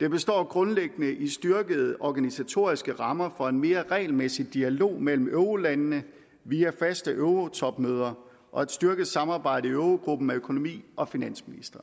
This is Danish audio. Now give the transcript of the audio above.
det består grundlæggende i styrkede organisatoriske rammer for en mere regelmæssig dialog mellem eurolandene via faste eurotopmøder og et styrket samarbejde i eurogruppen af økonomi og finansministre